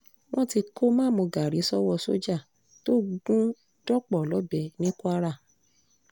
wọ́n ti kó má-mú-gaàrí sọ́wọ́ sójà tó gún dọ́pọ̀ lọ́bẹ̀ ní kwara